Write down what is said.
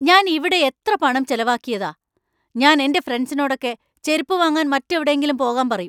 ഞാൻ ഇവിടെ എത്ര പണം ചെലവാക്കിയതാ, ഞാൻ എന്‍റെ ഫ്രെണ്ട്സിനോടൊക്കെ ചെരുപ്പു വാങ്ങാൻ മറ്റെവിടെയെങ്കിലും പോകാൻ പറയും.